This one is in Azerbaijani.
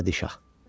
Sədi şah.